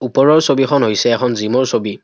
ওপৰৰ ছবিখন হৈছে এখন জিমৰ ছবি।